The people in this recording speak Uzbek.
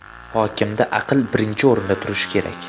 Hokimda aql birinchi o‘rinda turishi kerak.